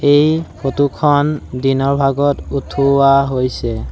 এই ফটো খন দিনৰ ভাগত উঠোৱা হৈছে।